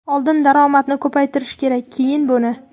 Oldin daromadni ko‘paytirish kerak, keyin buni.